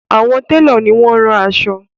Àwọn telo ní wón ron aṣọ.